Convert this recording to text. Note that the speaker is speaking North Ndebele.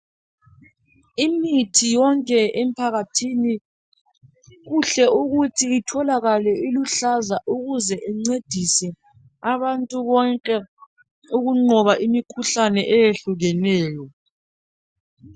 Imithi yonke emphakathini kuhle ukuthi itholakale iluhlaza ukuze incedise abantu bonke ukunqoba imikhuhlane eyehlukeneyo.